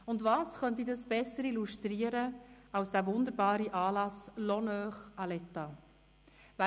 Und was könnte dies besser illustrieren als der wunderbare Anlass «Honneur à lʼÉtat».